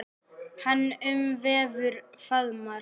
Hann umvefur og faðmar.